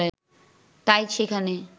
তাই সেখানে